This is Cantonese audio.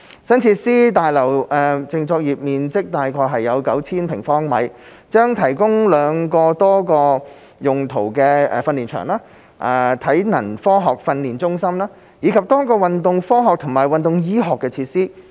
新設施大樓淨作業面積約 9,000 平方米，將提供兩個多用途訓練場地、體能科學訓練中心，以及多個運動科學和運動醫學設施。